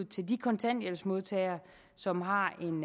til de kontanthjælpsmodtagere som har en